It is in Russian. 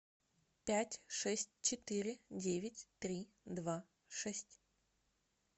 пять шесть четыре девять три два шесть